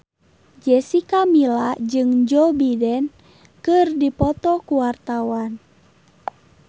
Jessica Milla jeung Joe Biden keur dipoto ku wartawan